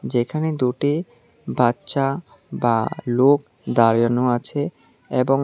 যেখানে দুটি বাচ্চা বা লোক দাঁড়ানো আছে এবং--